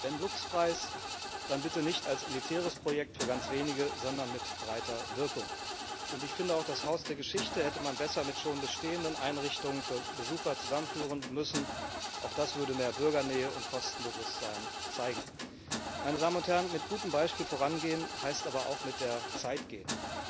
Wenn Lux Preis, dann bitte nicht als elitäres Projekt für ganz wenige, sondern mit breiter Wirkung. Ich finde, auch das Haus der Geschichte hätte man besser mit schon bestehenden Einrichtungen für Besucher zusammenführen müssen, auch das würde mehr Bürgernähe und Kostenbewusstsein zeigen. Mit gutem Beispiel vorangehen, heißt aber auch, mit der Zeit gehen.